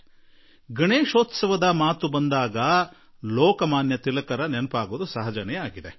ಆದರೆ ಗಣೇಶೋತ್ಸವದ ಮಾತು ಬಂದಾಗ ಲೋಕಮಾನ್ಯ ತಿಲಕರ ನೆನಪಾಗುವುದು ಬಹಳವೇ ಸ್ವಾಭಾವಿಕ